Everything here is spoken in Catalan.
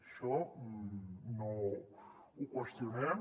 això no ho qüestionem